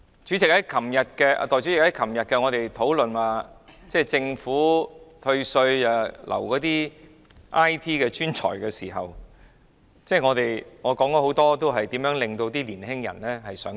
代理主席，我們昨天討論政府退稅來挽留 IT 專才的時候，我發言時舉出很多年輕一代想離開的原因。